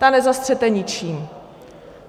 Ta nezastřete ničím.